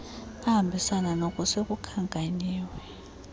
ahambisanayo nook sekukhankanyiwe